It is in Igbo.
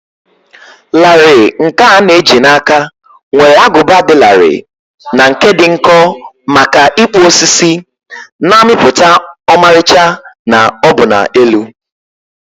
larịị nkè a na eji na áká nwere agụba dị larịị na nke dị nkọ maka ịkpụ osisi, na-amịpụta ọmarịcha na ọbụna elu.